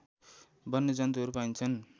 वन्यजन्तुहरू पाइन्छन्